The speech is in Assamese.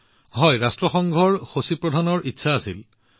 হয় সেয়া স্বয়ং ৰাষ্ট্ৰসংঘৰ মহাসচিবৰ ইচ্ছা আছিল